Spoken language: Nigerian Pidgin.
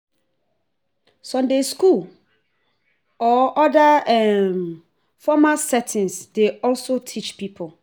Sunday school or oda formal settings dey also teach pipo